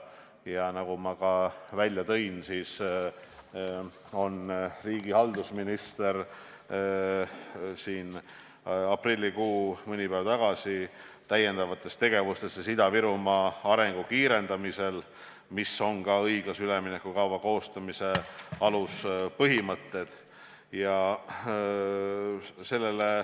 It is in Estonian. Ja nagu ma välja tõin, on riigihalduse minister aprillikuus mõni päev tagasi käsitlenud lisategevusi Ida-Virumaa arengu kiirendamiseks, mis on seotud ka õiglase ülemineku kava koostamise aluspõhimõtetega.